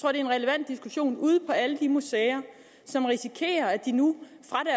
er en relevant diskussion ude på alle de museer som risikerer at de nu